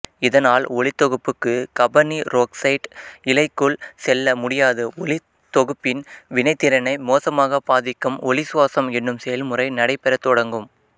இதனால் ஒளித்தொகுப்புக்கு காபனீரொக்சைட்டு இலைக்குள் செல்ல முடியாது ஒளித்தொகுப்பின் வினைத்திறனை மோசமாகப் பாதிக்கும் ஒளிச்சுவாசம் எனும் செயன்முறை நடைபெறத் தொடங்கும்